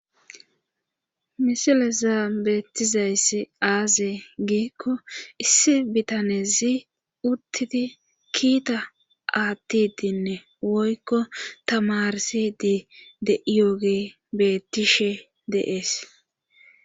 misile zaan bettizayssi aaze giikko issi bitanezi uttidi kiita aattidinne woykko tamarsidi de'iyooge bettishe de'ees